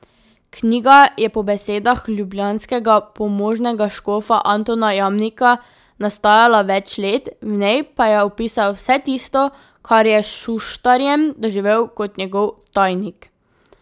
Knjiga je po besedah ljubljanskega pomožnega škofa Antona Jamnika nastajala več let, v njej pa je opisal vse tisto, kar je s Šuštarjem doživel kot njegov tajnik.